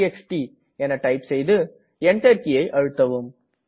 TXT type செய்து Enter கீயை அழுத்தவும்